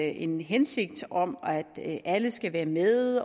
en hensigt om at alle skal være med